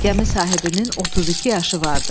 Gəmi sahibinin 32 yaşı vardı.